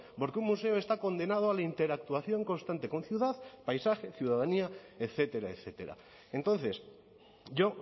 porque un museo está condenado a la interactuación constante con ciudad paisaje ciudadanía etcétera etcétera entonces yo